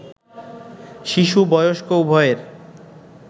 শিশু, বয়স্ক উভয়ের